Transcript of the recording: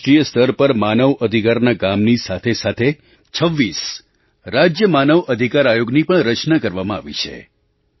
આજે રાષ્ટ્રીય સ્તર પર માનવ અધિકારના કામની સાથેસાથે 26 રાજ્ય માનવ અધિકાર આયોગની પણ રચના કરવામાં આવી છે